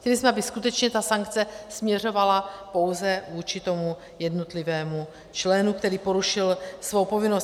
Chtěli jsme, aby skutečně ta sankce směřovala pouze vůči tomu jednotlivému členu, který porušil svou povinnost.